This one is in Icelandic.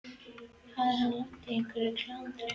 Hafði hann lent í einhverju klandri?